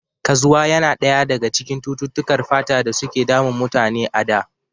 Kazwa yana ɗaya daga cututtukar fata da suke damun mutane a da